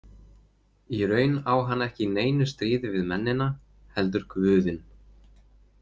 Í raun á hann ekki í neinu stríði við mennina heldur guðin.